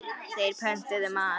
Þeir pöntuðu mat.